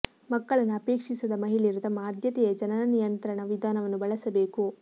ಮಕ್ಕಳನ್ನು ಅಪೇಕ್ಷಿಸದ ಮಹಿಳೆಯರು ತಮ್ಮ ಆದ್ಯತೆಯ ಜನನ ನಿಯಂತ್ರಣ ವಿಧಾನವನ್ನು ಬಳಸಬೇಕು